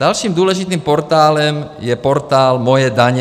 Dalším důležitým portálem je portál Moje daně.